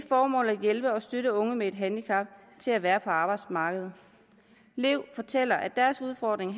formål at hjælpe og støtte unge med et handicap til at være på arbejdsmarkedet lev fortæller at deres udfordring